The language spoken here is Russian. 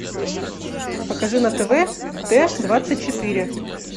покажи на тв т двадцать четыре